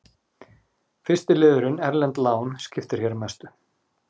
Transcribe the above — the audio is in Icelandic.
Fyrsti liðurinn, erlend lán, skiptir hér mestu.